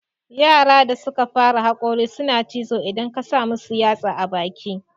Yara da suka fara haƙori suna cizo idan ka samu yatsa a baki